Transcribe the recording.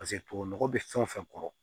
Paseke tubabu nɔgɔ bɛ fɛn o fɛn kɔrɔ